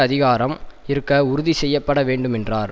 அதிகாரம் இருக்க உறுதி செய்ய பட வேண்டும் என்றார்